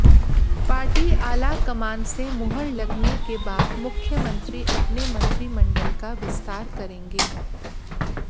party आलाकमान से मुहर लगने के बाद मुख्यमंत्री अपने मंत्रिमंडल का विस्तार करेंगे